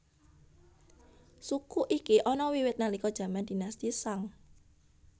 Suku iki ana wiwit nalika jaman Dinasti Shang